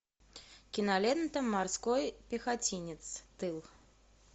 кинолента морской пехотинец тыл